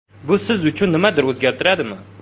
Bu siz uchun nimadir o‘zgartiradimi?